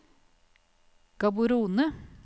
Gaborone